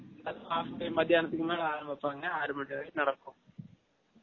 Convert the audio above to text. அதுவும் half day மதியானதுக்கு மேல ஆரம்பிப்பாங்க ஆரு மனி வரைக்கும் நடக்கும்